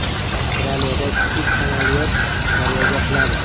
Avstraliyada kichik samolyot daryoga quladi.